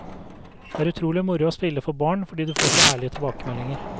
Det er utrolig moro å spille for barn fordi du får så ærlige tilbakemeldinger.